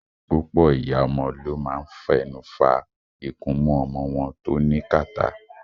Púpọ̀ ìyá ọmọ ló máa ń fẹnu fa ikunmú ọmọ wọn tó ní kàtá.